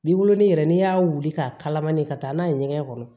Bi wolonwula yɛrɛ n'i y'a wuli k'a kalamani ka taa n'a ye ɲɛgɛn kɔnɔ